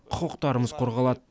құқықтарымыз қорғалады